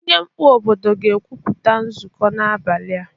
Onye mkpu obodo ga-ekwupụta nzụkọ n'abalị a